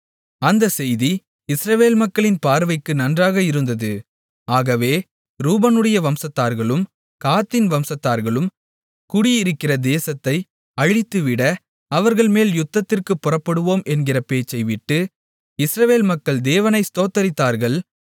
அந்தச் செய்தி இஸ்ரவேல் மக்களின் பார்வைக்கு நன்றாக இருந்தது ஆகவே ரூபனுடைய வம்சத்தார்களும் காத்தின் வம்சத்தார்களும் குடியிருக்கிற தேசத்தை அழித்துவிட அவர்கள் மேல் யுத்தத்திற்குப் புறப்படுவோம் என்கிற பேச்சை விட்டு இஸ்ரவேல் மக்கள் தேவனை ஸ்தோத்தரித்தார்கள்